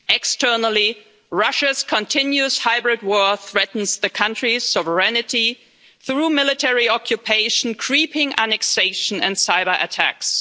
Externally Russia's continuous hybrid war threatens the country's sovereignty through military occupation, creeping annexation and cyberattacks.